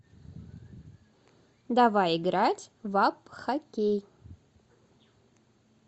давай играть в апп хоккей